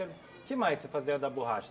que mais você fazia da borracha?